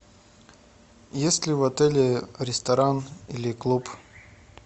есть ли в отеле ресторан или клуб